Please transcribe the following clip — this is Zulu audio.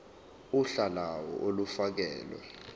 uhla lawo olufakelwe